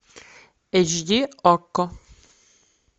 эйч ди окко